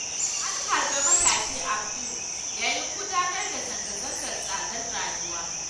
An harbe matashi Abdul yayin gudanar da zanga-zangar tsadar rayuwa.